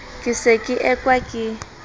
ke se ke ekwa ke